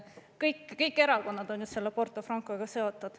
Kõik erakonnad on ju Porto Francoga seotud ...